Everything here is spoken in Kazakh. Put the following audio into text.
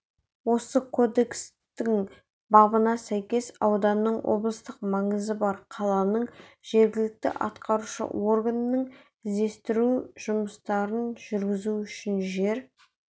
осы кодекстің бабына сәйкес ауданның облыстық маңызы бар қаланың жергілікті атқарушы органының іздестіру жұмыстарын жүргізу үшін жер